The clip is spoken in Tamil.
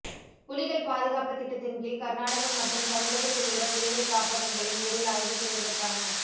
புலிகள் பாதுகாப்புத் திட்டத்தின்கீழ் கர்நாடகம் மற்றும் தமிழகத்திலுள்ள புலிகள் காப்பகங்களை நேரில் ஆய்வு செய்வதற்கான